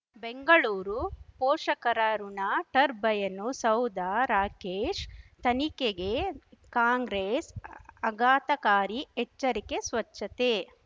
ಬೆಂಗಳೂರು ಪೋಷಕರಋಣ ಟರ್ಬೈನು ಸೌಧ ರಾಕೇಶ್ ತನಿಖೆಗೆ ಕಾಂಗ್ರೆಸ್ ಆಘಾತಕಾರಿ ಎಚ್ಚರಿಕೆ ಸ್ವಚ್ಛತೆ